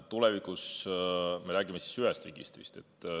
Tulevikus me räägime ühest registrist.